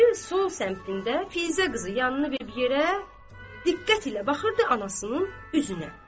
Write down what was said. Zeynəbin sol səmtində Fizə qızı yanını verib yerə, diqqət ilə baxırdı anasının üzünə.